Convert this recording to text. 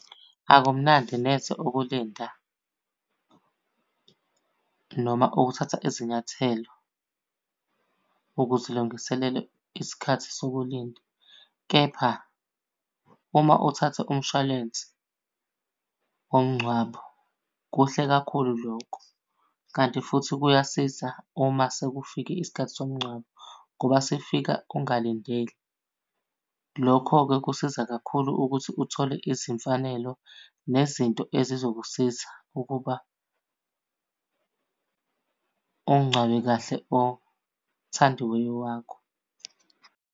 Akumnandi neze ukulinda noma ukuthatha izinyathelo ukuzilungiselela isikhathi sokulinda, kepha uma uthathe umshwalense womngcwabo kuhle kakhulu lokho. Kanti futhi kuyasiza uma sekufike isikhathi somngcwabo, ngoba sifika ungalindele. Lokho-ke kusiza kakhulu ukuthi uthole izimfanelo nezinto ezizokusiza ukuba umngcwabe kahle othandiweyo wakho.